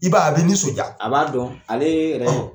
I b'a ye a bɛ nisɔndiya a b'a dɔn ale yɛrɛ.